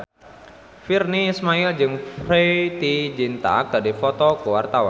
Virnie Ismail jeung Preity Zinta keur dipoto ku wartawan